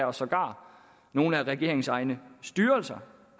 og sågar nogle af regeringens egne styrelser